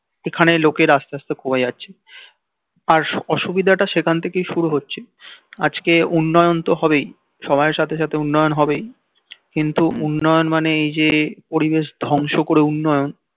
এখানে লোকের আস্তে আস্তে কমে যাচ্ছে আর অসুবিধা টা সেখান থেকেই শুরু হচ্ছে আজ কে উন্নয়ন তো হবেই সময়ের সাথে সাথে উন্নয়ন হবেই কিন্তু উন্নয়ন মানেই যে পরিবেশ ধ্বংস করে উন্নয়ন